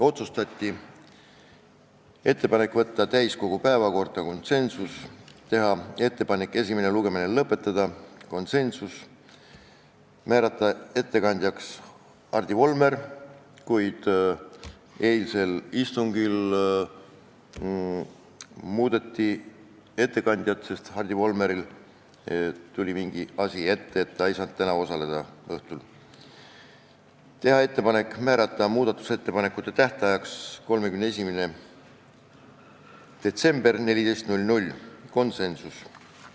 Otsustati teha ettepanek võtta eelnõu täiskogu istungi päevakorda , teha ettepanek esimene lugemine lõpetada , määrata ettekandjaks Hardi Volmer, kuid eilsel istungil muudeti ettekandjat, sest Hardi Volmeril tuli mingi asi ette, ta ei saanud täna õhtul istungil osaleda, teha ettepanek määrata muudatusettepanekute tähtajaks 31. detsember kell 14 .